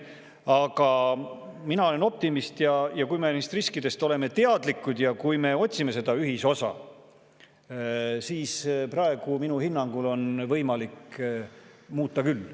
Aga mina olen optimist kui me oleme neist riskidest teadlikud ja otsime ühisosa, siis on võimalik praegu muuta.